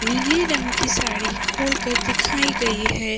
नीले रंग की साड़ी खोल कर दिखाई गई है।